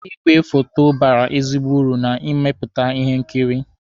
Igwe foto bara ezigbo uru na mmepụta ihe nkiri